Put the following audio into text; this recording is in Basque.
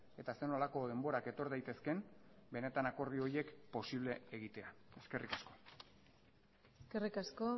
eta zer nolako denborak etor daitezkeen benetan akordio horiek posible egitea eskerrik asko eskerrik asko